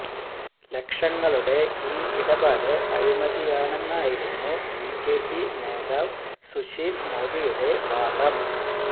ലക്ഷങ്ങളുടെ ഈ ഇടപാട് അഴിമതിയാണെന്നായിരുന്നു ബിജെപി നേതാവ് സുശീൽ മോദിയുടെ വാദം